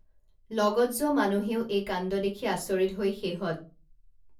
লগত যোৱা মানুহেও এই কাণ্ড দেখি আচৰিত হৈ শেহত